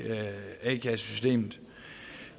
a kassesystemet